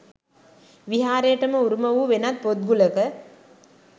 විහාරයටම උරුම වූ වෙනත් පොත් ගුලක